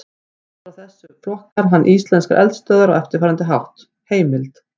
Út frá þessu flokkar hann íslenskar eldstöðvar á eftirfarandi hátt: Heimild: